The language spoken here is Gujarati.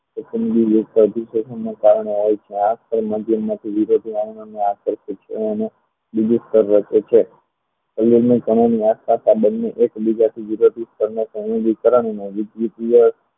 registration ના કારણે